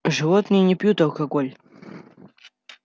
животные не пьют алкоголя